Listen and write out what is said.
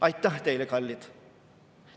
Aitäh teile, kallid!